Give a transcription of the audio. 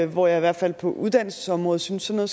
hvor jeg i hvert fald på uddannelsesområdet synes sådan